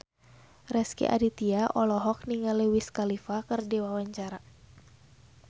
Rezky Aditya olohok ningali Wiz Khalifa keur diwawancara